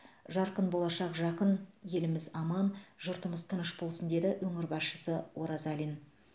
жарқын болашақ жақын еліміз аман жұртымыз тыныш болсын деді өңір басшысы оразалин